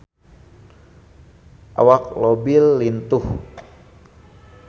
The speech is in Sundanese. Awak Leo Bill lintuh